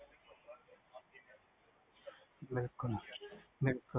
ਬਿਲਕੁਲ ਬਿਲਕੁਲ